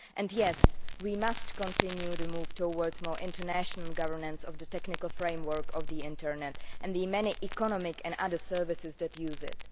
and yes, we must continue the move towards more international governance of the technical framework of the internet and the many economic and other services that use it.